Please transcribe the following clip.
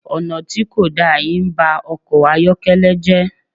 Ọ̀nà tí kò da yìí ń ba ọkọ̀ ayọ́kẹ́lẹ́ jẹ́.